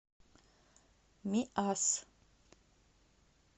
миасс